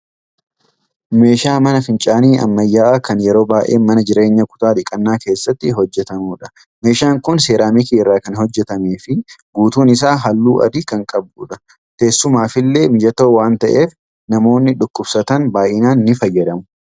Meeshaa mana fincaanii ammayaa'aa kan yeroo baay'ee mana jireenyaa kutaa dhiqannaa keesstti hojjatamidha. Meeshaan kun seeraamikii irraa kan hojjatameefi guutuun. isaa haalluu adii kan qabudha. Teessumaafillee mijatoo waan ta'eef namoonni dhukkubsatan baay'inaan ni fayyadamu.